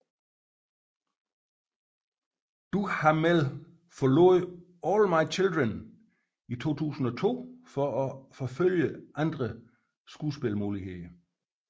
Duhamel forlod All My Children i 2002 for at forfølge andre skuespilsmuligheder